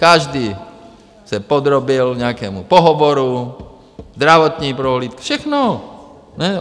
Každý se podrobil nějakému pohovoru, zdravotní prohlídce, všechno.